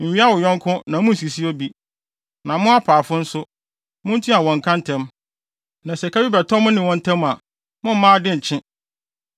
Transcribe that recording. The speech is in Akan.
“ ‘Nwia wo yɔnko na munnsisi obi. “ ‘Na mo apaafo nso, muntua wɔn ka ntɛm. Na sɛ ɛka bi bɛtɔ mo ne wɔn ntam a, mommma ade nkye so.